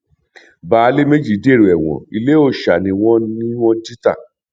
baálé méjì dèrò ẹwọn ilé òòsa ni wọn ni wọn jí ta